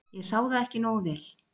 ég sá það ekki nógu vel.